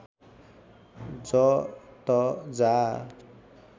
ज त जा